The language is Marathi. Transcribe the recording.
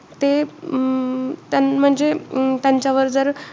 ते अं म्हणजे अं त्यांच्यावर जर,